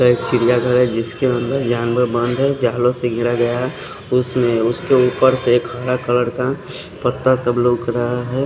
एक चिड़ियाघर है जिसके अंदर जानवर बांधे जालों से घेरा गया है उसमें उसके ऊपर से एक हरा कलर का पत्ता सब रोक रहा है।